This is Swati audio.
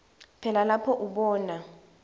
phela lapho ubona